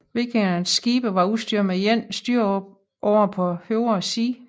Vikingernes skibe var udstyret med én styreåre på højre side